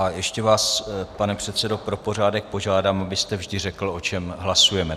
A ještě vás, pane předsedo, pro pořádek požádám, abyste vždy řekl, o čem hlasujeme.